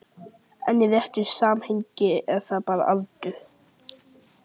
En í réttu samhengi er það bara aldur.